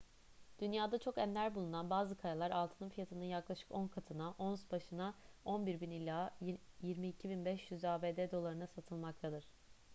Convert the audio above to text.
dünyada çok ender bulunan bazı kayalar altının fiyatının yaklaşık on katına ons başına 11.000 ila 22.500 abd dolarına satılmaktadır